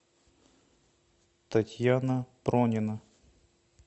татьяна пронина